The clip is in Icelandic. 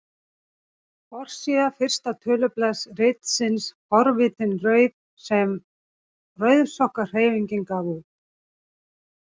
Forsíða fyrsta tölublaðs ritsins Forvitin rauð sem Rauðsokkahreyfingin gaf út.